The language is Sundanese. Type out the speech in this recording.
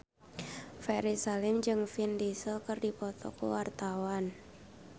Ferry Salim jeung Vin Diesel keur dipoto ku wartawan